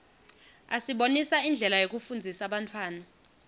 asibonisa indlela yekufundzisa bantfwana